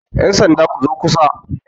yansanda ku zo kusa!